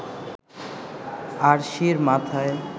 আরশির মাথায়